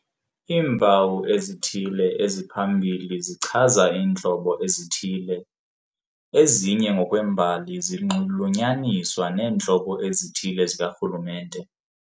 Iimpawu ezithile eziphambili zichaza iintlobo ezithile, ezinye ngokwembali zinxulunyaniswa neentlobo ezithile zikarhulumente.